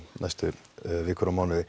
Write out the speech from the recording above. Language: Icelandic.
næstu